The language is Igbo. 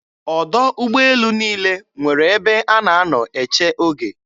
Ọdọ ụgbọelu niile nwere ebe a na-anọ eche oge.